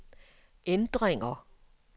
ændringer